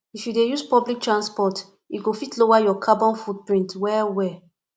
if you dey use public transport e go fit lower your carbon footprint wellwell